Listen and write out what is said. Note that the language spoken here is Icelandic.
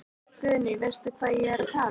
Guðný: Veistu hvað ég er að tala um?